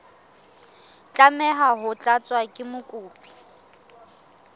tlameha ho tlatswa ke mokopi